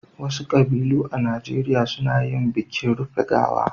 Wasu ƙabilu a Najeriya suna yin bikin rufe gawa.